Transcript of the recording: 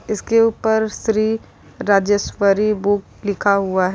इसके ऊपर श्री राजेश्वरी बुक लिखा हुआ है।